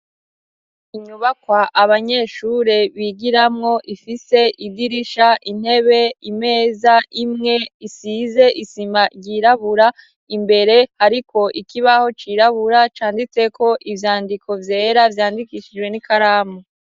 Inyubakwa abanyeshure bigiramwo, ifise idirisha, intebe, imeza imwe, isize isima ryirabura, imbere hariko ikibaho cirabura canditseko ivyandiko vyera, vyandikishijwe n'ikaramu.